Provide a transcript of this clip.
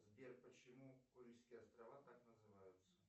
сбер почему курильские острова так называются